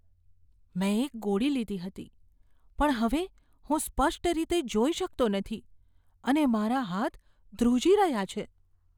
મેં એક ગોળી લીધી હતી, પણ હવે હું સ્પષ્ટ રીતે જોઈ શકતો નથી અને મારા હાથ ધ્રુજી રહ્યા છે.